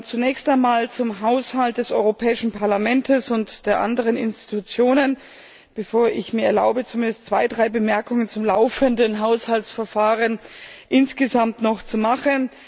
Zunächst einmal zum Haushalt des Europäischen Parlaments und der anderen Institutionen, bevor ich mir erlaube, zumindest zwei, drei Bemerkungen zum laufenden Haushaltsverfahren insgesamt zu machen.